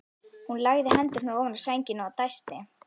Hún lagði hendurnar ofan á sængina og dæsti.